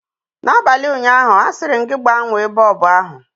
N'abalị ụnyaahụ, asịrị m gị gbanwee bọlbụ ahụ!